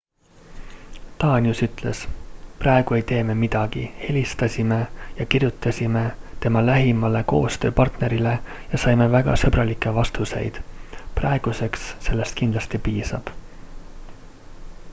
danius ütles praegu ei tee me midagi helistasime ja kirjutasime tema lähimale koostööpartnerile ja saime väga sõbralikke vastuseid praeguseks sellest kindlasti piisab